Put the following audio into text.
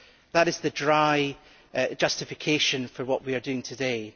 That is the dry justification for what we are doing today.